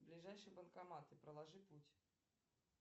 ближайшие банкоматы проложи путь